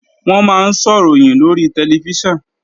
Wọ́n máa ń sọ̀ròyìn lórí tẹlifíṣàn